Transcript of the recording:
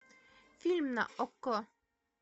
фильм на окко